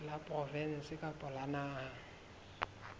la provinse kapa la naha